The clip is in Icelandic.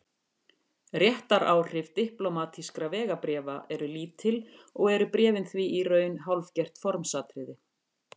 Réttaráhrif diplómatískra vegabréfa eru lítil og eru bréfin því í raun hálfgert formsatriði.